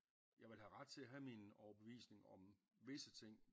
Jeg vil have ret til at have min overbevisning om visse ting